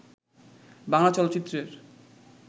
বাংলা চলচ্চিত্রের